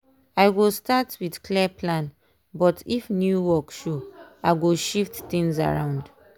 i go start with clear plan but if new work show i go shift things around.